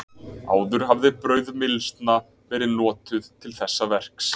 Áður hafði brauðmylsna verið notuð til þessa verks.